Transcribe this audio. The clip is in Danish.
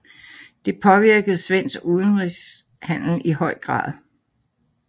Det påvirkede svensk udenrigshandel i høj grad